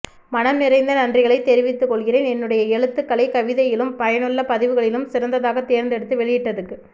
மனம் நிறைந்த நன்றிகளை தெரிவித்துக்கொள்கிறேன் என்னுடைய எழுத்துக்களை கவிதையிலும் பயனுள்ள பதிவுகளிலும் சிறந்ததாக தேர்ந்தெடுத்து வெளியிட்டதுக்கு